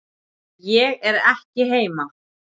Ég er ekki heima